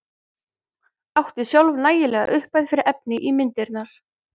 Átti sjálf nægilega upphæð fyrir efni í myndirnar.